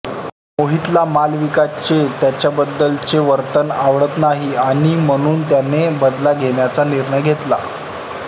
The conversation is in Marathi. मोहितला मालविकाचे त्याच्याबद्दलचे वर्तन आवडत नाही आणि म्हणून त्याने बदला घेण्याचा निर्णय घेतला